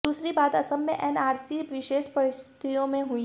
दूसरी बात असम में एनआरसी विशेष परिस्थितियों में हुई